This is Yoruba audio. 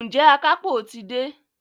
Ǹjẹ́ àkápò ti dé?